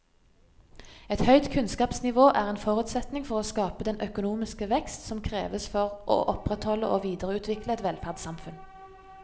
Et høyt kunnskapsnivå er en forutsetning for å skape den økonomiske vekst som kreves for å opprettholde og videreutvikle et velferdssamfunn.